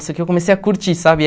Isso que eu comecei a curtir, sabe?